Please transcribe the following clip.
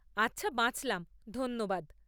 আচ্ছা, বাঁচলাম, ধন্যবাদ!